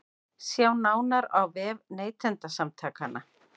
Sjá nánar á vef Neytendasamtakanna